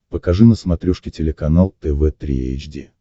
покажи на смотрешке телеканал тв три эйч ди